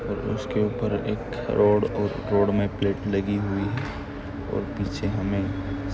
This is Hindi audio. उसके ऊपर एक रॉड और रॉड मे प्लेट लगी हुई है और पीछे हमें --